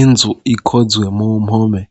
Inzu ikozwe mu mpome